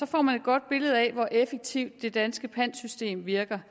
får man et godt billede af hvor effektivt det danske pantsystem virker